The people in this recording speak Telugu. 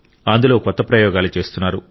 అందులో కొత్త ప్రయోగాలు చేస్తున్నారు